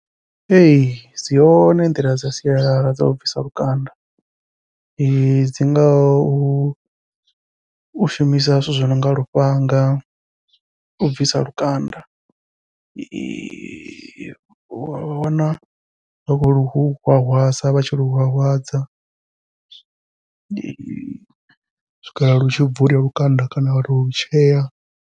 Ee dzi hone nḓila dza sialala dzau bvisa lukanda dzi ngaho u shumisa zwithu zwi nonga lufhanga, u bvisa lukanda wa wana vha khou lu hwahwadza vha tshi lu hwahwadza u swikela lu tshi bvula lukanda kana vha lu tshea.